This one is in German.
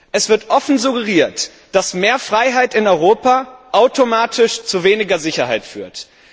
Es wird offen suggeriert, dass mehr Freiheit in Europa automatisch zu weniger Sicherheit führt.